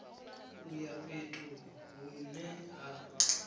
u ya fhethu hune ha